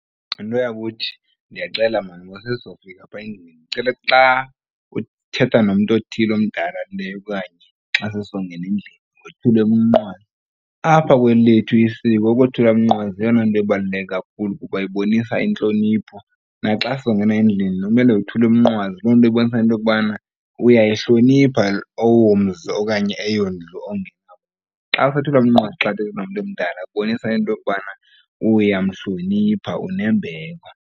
Nto yakuthi ndiyacela maan ngoba sesizofika phaya endlini. Ndicela xa uthetha nomntu othile omdala okanye xa sizongena endlini wothule umnqwazi. Apha kweli lethu isiko ukothula umnqwazi yeyona nto ebaluleke kakhulu kuba ibonisa intlonipho. Naxa sizongena endlini kumele wothule umnqwazi loo nto ibonisa into yokubana uyayihlonipha owomzi okanye eyondlu ongena . Xa usothula umnqwazi xa uthetha nomntu omdala kubonisa into yokubana uyamhlonipha unembeko.